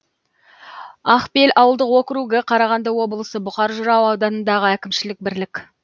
ақбел ауылдық округі қарағанды облысы бұқар жырау ауданындағы әкімшілік бірлік